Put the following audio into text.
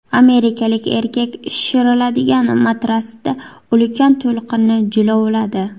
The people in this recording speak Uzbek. Amerikalik erkak shishiriladigan matratsda ulkan to‘lqinni jilovladi .